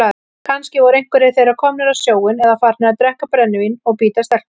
Kannski voru einhverjir þeirra komnir á sjóinn eða farnir að drekka brennivín og bíta stelpur.